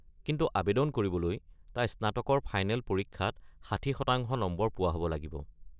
কিন্তু আৱেদন কৰিবলৈ, তাই স্নাতকৰ ফাইনেল পৰীক্ষাত ৬০ শতাংশ নম্বৰ পোৱা হ'ব লাগিব।